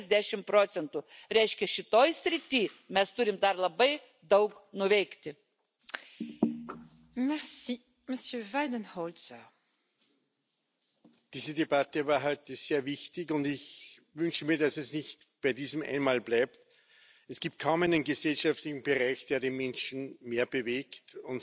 dass auch gewachsene private Alterssicherung, oftmals durch Steueranreize motiviert, als dritte Säule eine ergänzende keine ersetzende Bedeutung hat. Der Markt für private Altersvorsorgeprodukte